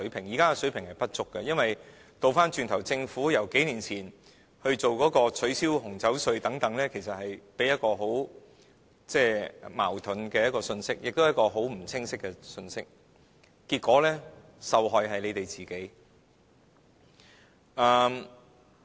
現時水平不足，是因為政府數年前取消紅酒稅等措施，其實是發出一個既矛盾，亦不清晰的信息，結果受害的是政府。